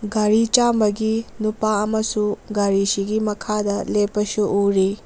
ꯒꯥꯔꯤ ꯆꯥꯝꯕꯒꯤ ꯅꯨꯄꯥ ꯑꯃꯁꯨ ꯒꯥꯔꯤꯁꯤꯒꯤ ꯃꯈꯥꯗ ꯂꯦꯞꯄꯁꯨ ꯎꯔꯤ꯫